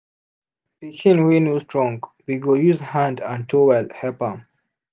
pikin wey no strong we go use hand and towel help am